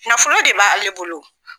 Nafolo de b'a ale bolo o.